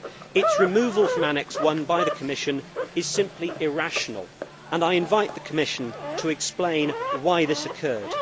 Its removal from Annex I by the Commission is simply irrational, and I invite the Commission to explain why this occurred.